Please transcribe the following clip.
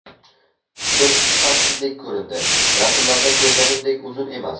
Testi sifatsizdek ko‘rindi, rasmlarda ko‘rganimdek uzun emas.